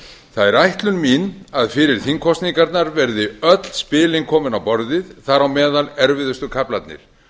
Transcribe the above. það er ætlun mín að fyrir þingkosningarnar verði öll spilin komin á borðið þar á meðal erfiðustu kaflarnir